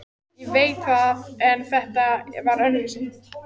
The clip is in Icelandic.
Ég veit það en þetta var öðruvísi.